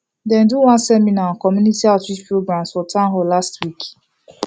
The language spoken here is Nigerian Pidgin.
dem do one seminar on community outreach programs for town hall last week